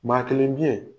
Maa kelen bi